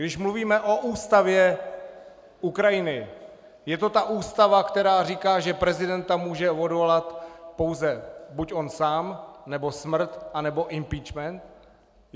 Když mluvíme o ústavě Ukrajiny, je to ta ústava, která říká, že prezidenta může odvolat pouze buď on sám, nebo smrt, anebo impeachment?